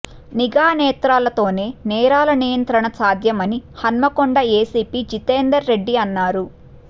నిఘా నేత్రాలతోనే నేరాల నియంత్రణ సాధ్యమని హన్మకొండ ఏసీపీ జితెందర్రెడ్డి అన్నారు